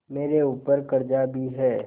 मेरे ऊपर कर्जा भी है